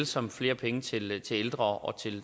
som flere penge til til ældre og